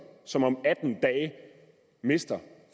som om atten dage mister